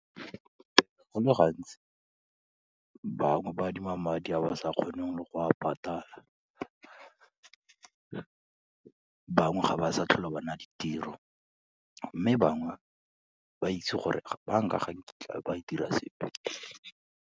Go le gantsi, bangwe ba adima madi a ba sa kgoneng le go a patala, bangwe ga ba sa tlhola ba na le tiro, mme bangwe ba itse gore bank-a ga nkitla e dira sepe.